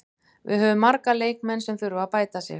Við höfum marga leikmenn sem þurfa að bæta sig.